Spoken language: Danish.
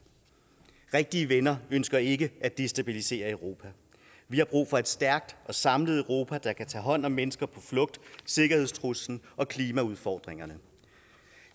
rigtige venner ønsker ikke at destabilisere europa vi har brug for et stærkt og samlet europa der tager hånd om mennesker på flugt sikkerhedstrusler og klimaudfordringerne